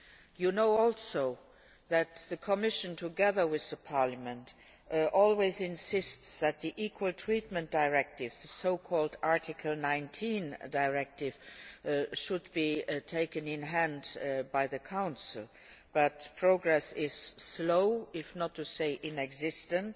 You know too that the Commission, together with Parliament, always insists that the Equal Treatment Directive the so called Article 19 Directive should be taken in hand by the Council but progress is slow, if not to say non existent.